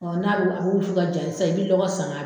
Ɔ n'a bɛ wusu ka ja sisan, i bɛ lɔgɔ san